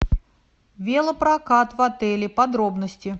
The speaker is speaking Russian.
велопрокат в отеле подробности